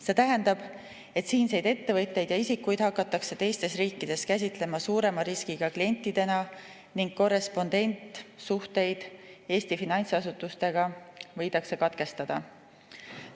See tähendab, et siinseid ettevõtteid ja isikuid hakatakse teistes riikides käsitlema suurema riskiga klientidena ning korrespondentsuhteid Eesti finantsasutustega võidakse katkestada.